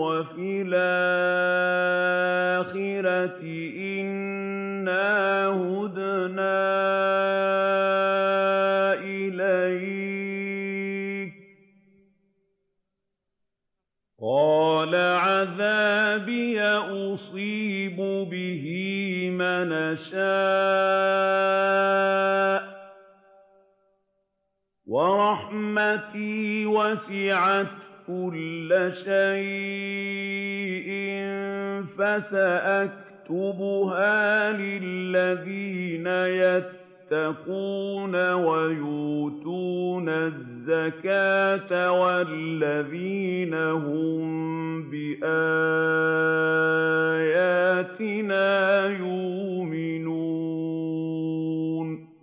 وَفِي الْآخِرَةِ إِنَّا هُدْنَا إِلَيْكَ ۚ قَالَ عَذَابِي أُصِيبُ بِهِ مَنْ أَشَاءُ ۖ وَرَحْمَتِي وَسِعَتْ كُلَّ شَيْءٍ ۚ فَسَأَكْتُبُهَا لِلَّذِينَ يَتَّقُونَ وَيُؤْتُونَ الزَّكَاةَ وَالَّذِينَ هُم بِآيَاتِنَا يُؤْمِنُونَ